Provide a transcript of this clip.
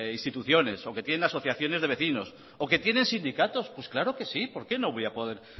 instituciones o que tienen asociaciones de vecinos o que tiene sindicatos pues claro que sí por qué no voy a poder